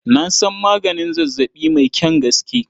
Na san maganin zazzaɓi mai kyan gaske.